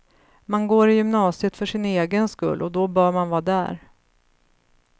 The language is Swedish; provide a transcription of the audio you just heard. Man går i gymnasiet för sin egen skull och då bör man vara där.